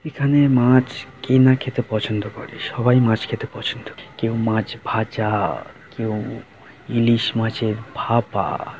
এখানে মাছ কে না খেতে পছন্দ করে সবাই মাছ খেতে পছন্দ করে। কেউ মাছ ভাজা কেউ ইলিশ মাছের ভাপা।